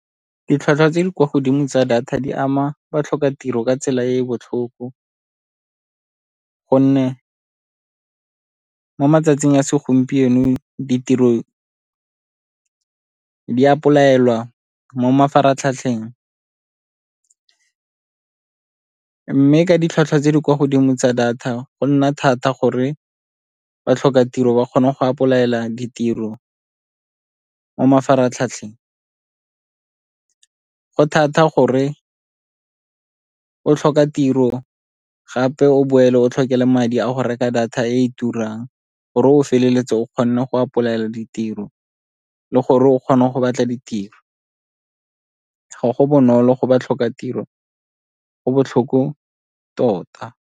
Ditlhwatlhwa tse di kwa godimo tsa data di ama batlhokatiro ka tsela ya botlhoko gonne mo matsatsing a segompieno ditiro di apply-elwa mo mafaratlhatlheng. Mme ka ditlhwatlhwa tse di kwa godimo tsa data go nna thata gore batlhokatiro ba kgone go apply-ela ditiro mo mafaratlhatlheng. Go thata gore o tlhoka tiro gape o boele o tlhoke le madi a go reka data e turang gore o feleletse o kgona go apply-ela ditiro le gore o kgone go batla ditiro, ga go bonolo go batlhokatiro, go botlhoko tota.